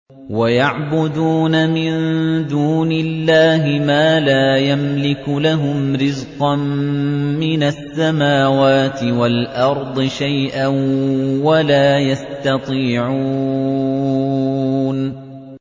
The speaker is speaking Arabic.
وَيَعْبُدُونَ مِن دُونِ اللَّهِ مَا لَا يَمْلِكُ لَهُمْ رِزْقًا مِّنَ السَّمَاوَاتِ وَالْأَرْضِ شَيْئًا وَلَا يَسْتَطِيعُونَ